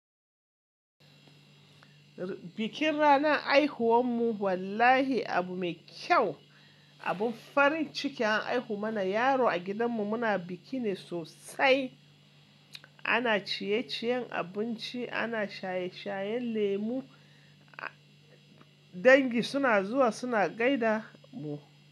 Bikin ranar haihuwan mu wallahi abu mai kyau. Abin farin ciki an haihu mana yaro a gidan mu muna biki ne sosai. Ana ciyeciyen abinci, ana shaye shayen lemu, dangi suna zuwa suna gaida mu.